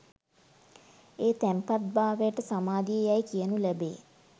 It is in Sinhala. ඒ තැන්පත් භාවයට සමාධිය යැයි කියු ලැබේ.